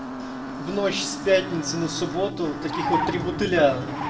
в ночь с пятницы на субботу таких вот три бутыля